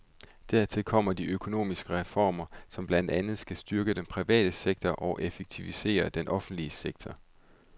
Dertil kommer de økonomiske reformer, som blandt andet skal styrke den private sektor og effektivisere den offentlige sektor.